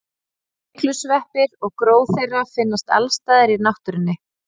Myglusveppir og gró þeirra finnast alls staðar í náttúrunni.